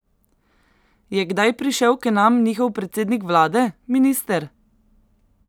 Je kdaj prišel k nam njihov predsednik vlade, minister?